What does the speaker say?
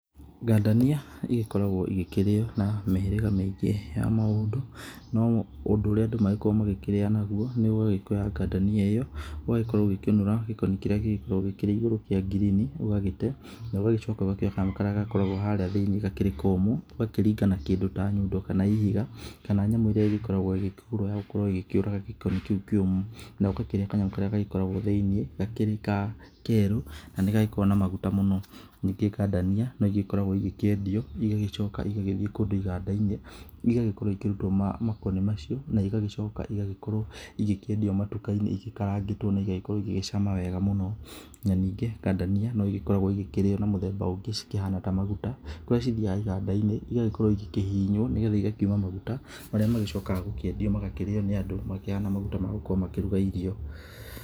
Ngandania igĩkoragwo igĩkĩrĩo na mĩhĩrĩga mĩingĩ ya maũndũ, no ũndũ ũrĩa andũ magĩkoragwo magĩkĩrĩa naguo nĩ gũgĩkioya ngandania ĩyo, ũgagĩkorwo ũgĩkĩũnũra gĩkoni kĩrĩa gĩgĩkoragwo gĩkĩrĩ igũrũ kĩa green ũgagĩte na ũgagĩcoka ũgakĩoya kanyamũ karĩa gagĩkoragwo harĩa thĩiniĩ gakĩrĩ komũ, ũgakĩringa nakĩndũ ta nyundo kana ihiga kana nyamũ ĩrĩa ĩgĩkoragwo ĩgĩkĩgũrwo ya gũkorwo ĩgĩkĩũraga gĩkoni kĩu kĩũmũ, na ũgakĩrĩa kanyamũ karĩa gagĩkoragwo thĩiniĩ gakĩrĩ ka kerũ, na nĩ gagĩkoragwo na maguta mũno. Ningĩ ngandania, no igĩkoragwo igĩkĩendio igagĩcoka igagĩthiĩ kũndũ iganda-inĩ igagĩkorwo ikĩrutwo makoni macio, na igagĩcoka igagĩkorwo igĩkĩendio matuka-inĩ igĩkarangĩtwo na igagĩkorwo igĩgĩcama wega mũno. Na ningĩ ngandania no igĩkoragwo igĩkĩrĩo na mũthemba ũngĩ cikĩhana ta maguta, kũrĩa cithiaga iganda-inĩ igagĩkorwo igĩkĩhihinywo, nĩgetha igakiuma maguta marĩa magicokaga gũkĩendio magakĩrĩo nĩ andũ makĩhana maguta ma gũkorwo makĩruga irio.